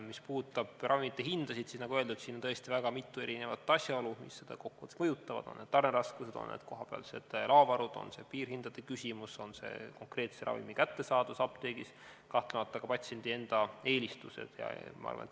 Mis puudutab ravimite hindasid, siis nagu öeldud, on kokku võttes väga mitu asjaolu, mis seda mõjutavad – on need tarneraskused, on need kohapealsed laovarud, on see piirhindade küsimus, on see konkreetse ravimi kättesaadavus apteegis, kahtlemata ka patsiendi enda eelistused.